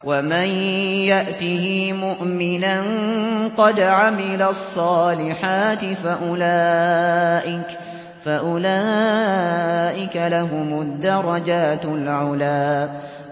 وَمَن يَأْتِهِ مُؤْمِنًا قَدْ عَمِلَ الصَّالِحَاتِ فَأُولَٰئِكَ لَهُمُ الدَّرَجَاتُ الْعُلَىٰ